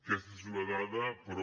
aquesta és una dada però